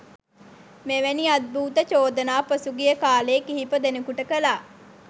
මෙවැනි අද්භූත චෝදනා පසුගිය කාලේ කිහිප දෙනෙකුට කළා